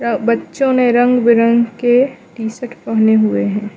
बच्चों ने रंग बिरंगी के टी शर्ट पहने हुए हैं।